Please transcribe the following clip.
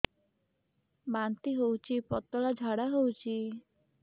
ବାନ୍ତି ହଉଚି ପତଳା ଝାଡା ହଉଚି